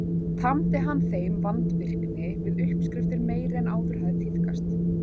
Tamdi hann þeim vandvirkni við uppskriftir meiri en áður hafði tíðkast.